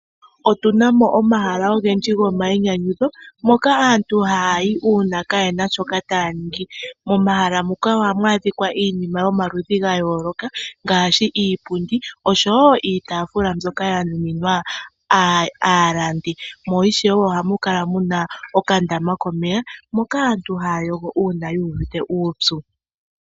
Otu na mo omahala ogendji gomayinyanyudho moka aantu haya yi uuna kaakye na shoka taya ningi. Momahala muka ohamu adhika iinima yomaludhi ngaashi iipundi oshowo iitaafula mbyoka ya nuninwa aalandi. Mo ishewe ohamu kala mu na okandama komeya moka aantu haya yogo uuna yu uvite uupyu.